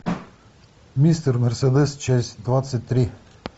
мистер мерседес часть двадцать три